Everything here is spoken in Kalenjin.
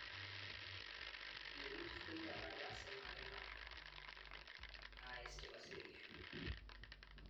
Pirindet kokiparkei asimakinam IS chepo Shria